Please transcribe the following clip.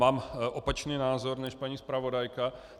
Mám opačný názor než paní zpravodajka.